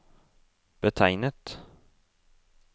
betegnet